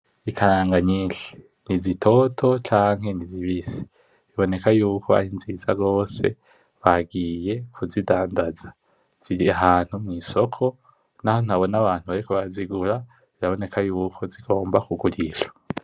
Ikaranga nyishi ni zitoto canke ni zibisi biboneka yuko ari nziza gose bagiye kuzidadanza ziri ahantu mw’isoko naho ntabona abantu bariko barazigura biraboneka yuko zigomba kugurishwa.